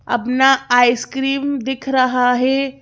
अपना आइसक्रीम दिख रहा है।